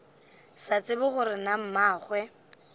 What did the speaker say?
sa tsebe gore na mmagwe